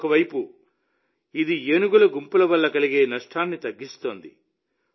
ఒక వైపు ఇది ఏనుగుల గుంపుల వల్ల కలిగే నష్టాన్ని తగ్గిస్తుంది